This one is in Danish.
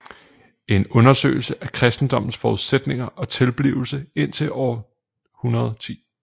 En undersøgelse af kristendommens forudsætninger og tilblivelse indtil år 110